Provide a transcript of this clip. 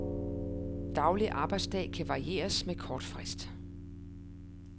Daglig arbejdsdag kan varieres med kort frist.